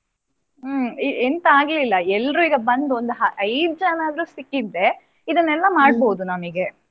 ಹ್ಮ್ ಎಂತ ಆಗ್ಲಿಲ್ಲ ಎಲ್ಲರೂ ಈಗ ಬಂದು ಐದು ಜನ ಆದ್ರೂ ಸಿಕ್ಕಿದ್ರೆ ಇದನ್ನೆಲ್ಲಾ ಮಾಡ್ಬೋದು ನಮಿಗೆ.